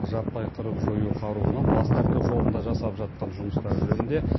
жаппай қырып жою қаруынан бас тарту жолында жасап жатқан жұмыстары жөнінде